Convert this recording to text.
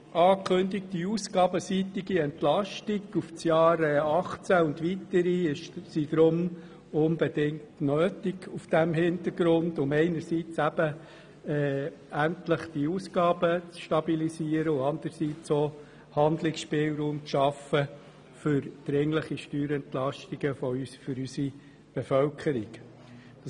Die angekündigte ausgabenseitige Entlastung für das Jahr 2018 und für die weiteren Jahre ist vor diesem Hintergrund unbedingt nötig, um einerseits endlich die Ausgaben zu stabilisieren, und anderseits auch, um Handlungsspielraum für dringliche Steuerentlastungen für die Bevölkerung zu ermöglichen.